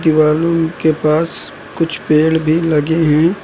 दीवालों के पास कुछ पेड़ भी लगे हैं।